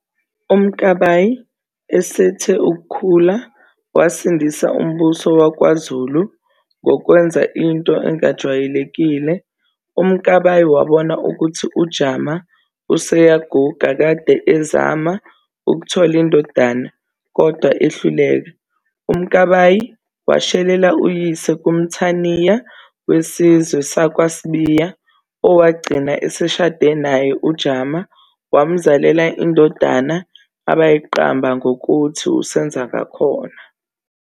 UMkabayi esethe ukukhula wasindisa uMbuso wakwaZulu ngokwenza into engajwayelekile, uMkabayi wabona ukuthi uJama useyaguga kade ezama ukuthola indodana kodwa ehluleka UMkabayi washelela uyise kuMthaniya wesizwe sakwaSibiya, owagcina eseshade naye uJama wamzalela indodadana abayiqamba ngokuthi uSenzangakhona.